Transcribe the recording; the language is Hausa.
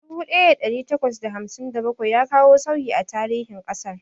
Dubu ɗaya da ɗari takwas da hamsin da bakwai ya kawo sauyi a tarihin ƙasar.